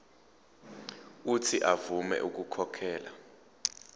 uuthi avume ukukhokhela